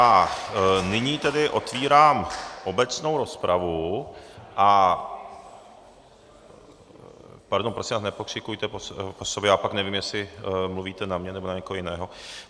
A nyní tedy otvírám obecnou rozpravu a ... Pardon, prosím vás, nepokřikujte po sobě, já pak nevím, jestli mluvíte na mě, nebo na někoho jiného.